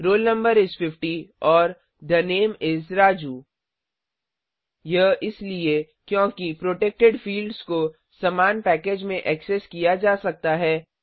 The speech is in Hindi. रोल नो इस 50 और थे नामे इस राजू यह इसलिए क्योंकि प्रोटेक्टेड फिल्ड्स को समान पैकेजेस में ऐक्सेस किया जा सकता है